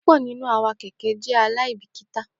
Pupọ awọn ẹlẹṣin keke jẹ aibikita.